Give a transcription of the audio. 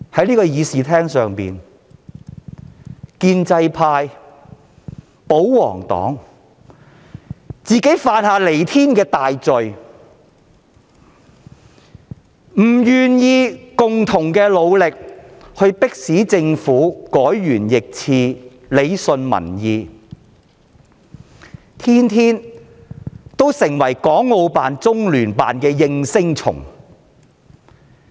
在會議廳內，建制派、保皇黨犯下彌天大罪，拒絕與我們聯手，迫使政府改弦易轍，順應民意，反而每天充當港澳辦和中聯辦的"應聲蟲"。